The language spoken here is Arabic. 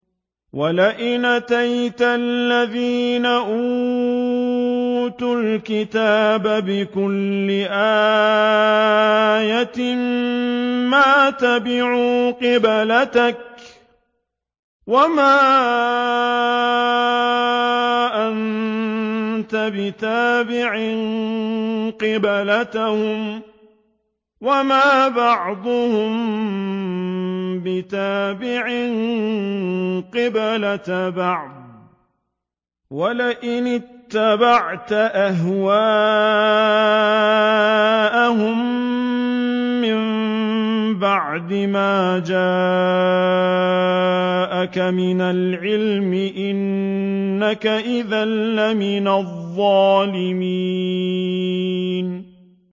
وَلَئِنْ أَتَيْتَ الَّذِينَ أُوتُوا الْكِتَابَ بِكُلِّ آيَةٍ مَّا تَبِعُوا قِبْلَتَكَ ۚ وَمَا أَنتَ بِتَابِعٍ قِبْلَتَهُمْ ۚ وَمَا بَعْضُهُم بِتَابِعٍ قِبْلَةَ بَعْضٍ ۚ وَلَئِنِ اتَّبَعْتَ أَهْوَاءَهُم مِّن بَعْدِ مَا جَاءَكَ مِنَ الْعِلْمِ ۙ إِنَّكَ إِذًا لَّمِنَ الظَّالِمِينَ